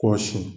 Kɔ sin